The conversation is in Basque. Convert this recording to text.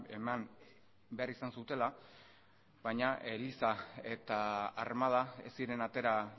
eman behar izan zutela baina eliza eta armada ez ziren atera